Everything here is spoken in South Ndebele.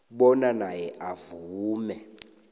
bona naye avume